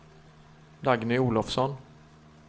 Dagny Olofsson